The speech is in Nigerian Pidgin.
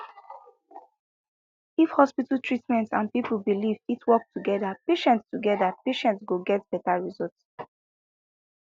if hospital treatment and people belief fit work together patients together patients go get better results